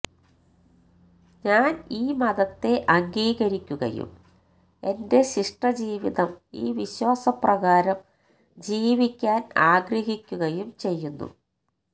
ഞാൻ ഈ മതത്തെ അംഗീകരിക്കുകയും എന്റെ ശിഷ്ട ജീവിതം ഈ വിശ്വാസപ്രകാരം ജീവിക്കാൻ ആഗ്രഹിക്കുകയും ചെയ്യുന്നു